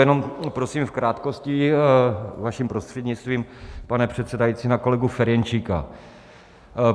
Jenom prosím v krátkosti vaším prostřednictvím, pane předsedající, na kolegu Ferjenčíka.